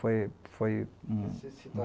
Foi foi um. Você se